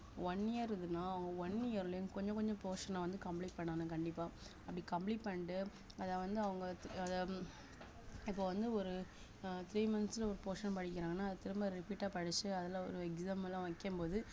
one year இருந்ததுன்னா அவுங்க one year லயும் கொஞ்சம் கொஞ்சம் portion ஆ வந்து complete பண்ணணும் கண்டிப்பா அப்படி complete பண்ணிட்டு அத வந்து அவங்க அத இப்ப வந்து ஒரு அஹ் three months ல ஒரு portion படிக்கறாங்கன்னா அது திரும்ப repeat ஆ படிச்சு அதுல ஒரு exam எல்லாம் வைக்கும்போது